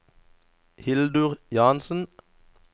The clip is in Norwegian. Hildur Jansen